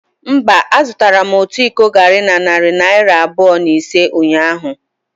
Mba, azụtara m otu iko garri na narị naira abụọ na ise ụnyahụ.